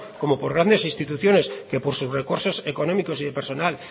como por grandes instituciones que por sus recursos económicos y de personal